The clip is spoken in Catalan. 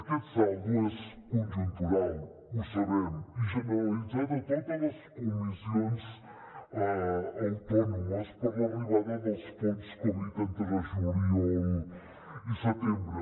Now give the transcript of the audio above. aquest saldo és conjuntural ho sabem i generalitzat a totes les comissions autònomes per l’arribada dels fons covid entre juliol i setembre